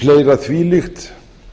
fleira þvílíkt